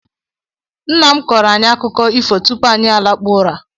Nna m kọrọ anyị akụkọ ifo tupu anyị lakpuo ụra.